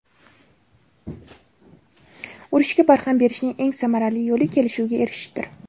Urushga barham berishning eng samarali yo‘li kelishuvga erishishdir.